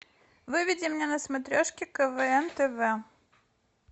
выведи мне на смотрешке квн тв